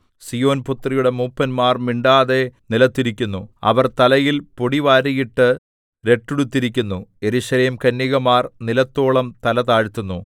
സീയോൻപുത്രിയുടെ മൂപ്പന്മാർ മിണ്ടാതെ നിലത്തിരിക്കുന്നു അവർ തലയിൽ പൊടി വാരിയിട്ട് രട്ടുടുത്തിരിക്കുന്നു യെരൂശലേം കന്യകമാർ നിലത്തോളം തല താഴ്ത്തുന്നു